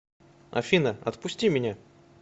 афина отпусти меня